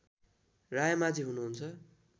रायमाझि हुनुहुन्छ